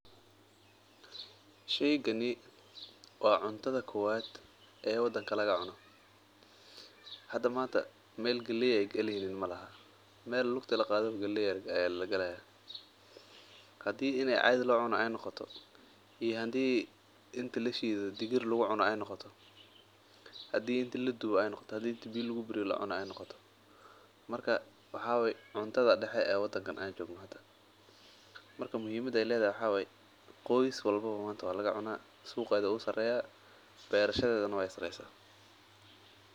Sheygani waa cuntada kowaad oo wadanka laga cuno, meel laga heleynin majirto, hadii lashiido aay noqoto marka muhimada waxaa waye qoys walbo waa laga cunaa suqeeda wuu sareeya beerashadeeda waay sareysa.